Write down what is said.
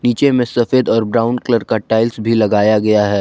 नीचे में सफेद और ब्राउन कलर का टाइल्स भी लगाया गया है।